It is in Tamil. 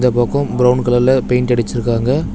இந்தப் பக்கோம் பிரவுன் கலர்ல பெயிண்ட் அடிச்சிருக்காங்க.